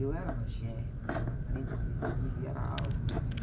Eu era magérrima, né? Eu pesava quarenta e três quilos e era alta...